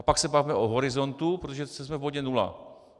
A pak se bavme o horizontu, protože jsme v bodě nula.